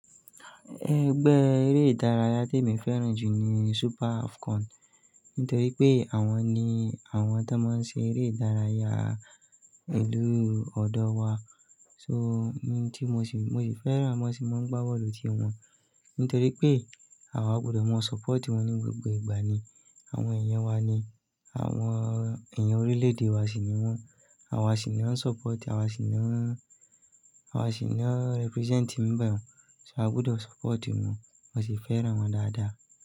Ẹgbẹ́ eré ìdárayá tí mo fẹ́ràn jù ni Super Afcon nítorí pé àwọn ni àwọn tó máa ń ṣe eré ìdárayá ìlú ọ̀dọ̀ wa. So, mo sì fẹ́ràn wọn, mo sì máa ń gbá bọ́ọ̀lù tí wọn, nítorí pé àwa gbọdọ̀ máa support wọn ní gbogbo ìgbà ni. Àwọn èèyàn wa ni, àwọn èèyàn orílè-èdè wa sì ni wọ́n. Àwa sì ń support, àwa sì ń represent ń bá wọn. So a gbọdọ̀ support wọn, mo sì fẹ́ràn wọn dáadáa.